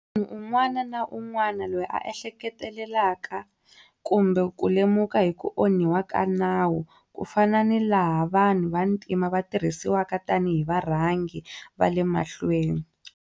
Munhu un'wana na un'wana loyi a ehleketelaka kumbe ku lemuka hi ku onhiwa ka Nawu, ku fana ni laha vanhu va ntima va tirhisiwaka tani hi varhangi va le mahlweni.